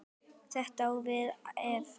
Þetta á við ef